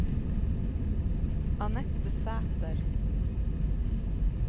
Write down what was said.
Annette Sæter